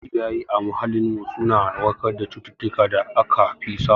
Yawancin ci yayi a muhallin mu suna warkar da cututtukar da aka fi samu